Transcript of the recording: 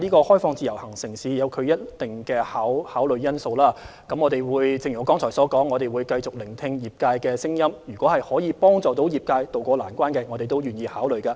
開放自由行城市與否涉及一定的考慮因素，正如我剛才所說，我們會繼續聆聽業界的聲音，可以幫助業界渡過難關的建議，我們都願意考慮。